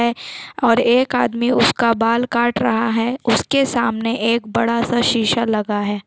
--हैंऔर एक आदमी उसका बाल काट रहा है उसके सामने एक बड़ा-सा शीशा लगा हैं ।